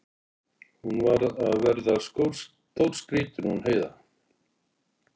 Hún var að verða stórskrýtin hún Heiða.